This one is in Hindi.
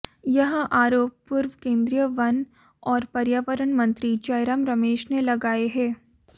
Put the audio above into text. यह आरोप पूर्व केंद्रीय वन और पर्यावरण मंत्री जयराम रमेश ने लगाए हैं